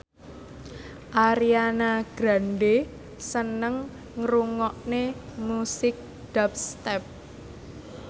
Ariana Grande seneng ngrungokne musik dubstep